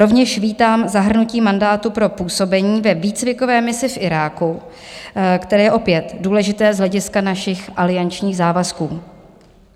Rovněž vítám zahrnutí mandátu pro působení ve výcvikové misi v Iráku, které je opět důležité z hlediska našich aliančních závazků.